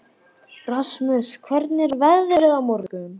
Rasmus, hvernig er veðrið á morgun?